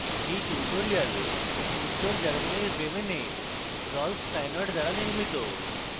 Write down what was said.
এই টিউটোরিয়াল উত্তর germany bremen rolf steinort দ্বারা নির্মিত